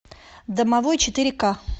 домовой четыре ка